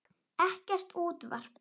Ekkert útvarp.